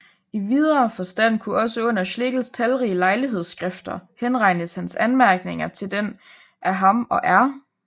I videre forstand kunne også under Schlegels talrige lejlighedsskrifter henregnes hans anmærkninger til den af ham og R